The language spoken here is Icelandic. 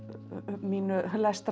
mínum